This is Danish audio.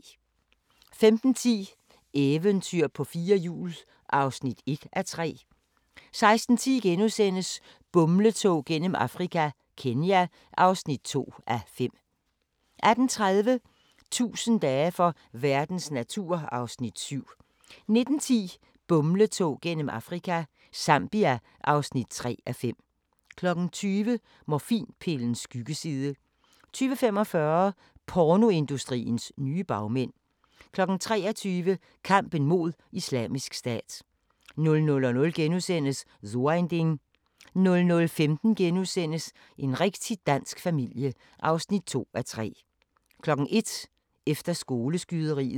15:10: Eventyr på fire hjul (1:3) 16:10: Bumletog gennem Afrika – Kenya (2:5)* 18:30: 1000 dage for verdens natur (Afs. 7) 19:10: Bumletog gennem Afrika – Zambia (3:5) 20:00: Morfinpillens skyggeside 20:45: Pornoindustriens nye bagmænd 23:00: Kampen mod Islamisk Stat 00:00: So ein Ding * 00:15: En rigtig dansk familie (2:3)* 01:00: Efter skoleskyderiet